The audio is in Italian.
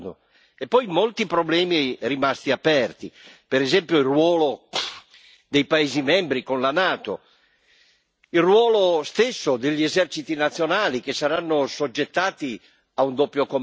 Ci sono molti problemi rimasti aperti, per esempio il ruolo dei paesi membri con la NATO, il ruolo stesso degli eserciti nazionali, che saranno assoggettati a un doppio comando.